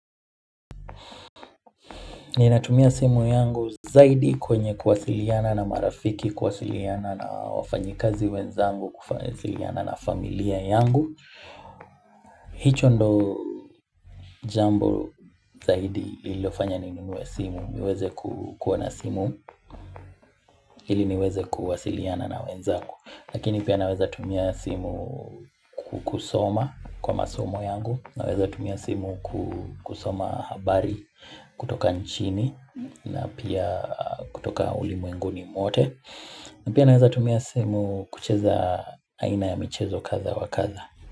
Ninatumia simu yangu zaidi kwenye kuwasiliana na marafiki, kuwasiliana na wafanyikazi wenzangu, kuwasiliana na familia yangu hicho ndo jambo zaidi lililofanya ninunue simu, niweze kukuwa na simu, ili niweze kuwasiliana na wenzangu. Lakini pia naweza tumia simu kukusoma kwa masomo yangu. Naweza tumia simu kusoma habari kutoka nchini na pia kutoka ulimwenguni mwote na pia naweza tumia simu kucheza aina ya michezo kadha wa kadha.